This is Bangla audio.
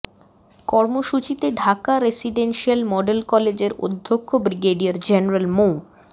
কর্মসূচিতে ঢাকা রেসিডেনসিয়াল মডেল কলেজের অধ্যক্ষ ব্রিগেডিয়ার জেনারেল মো